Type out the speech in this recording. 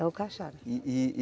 É o Cachara. E, e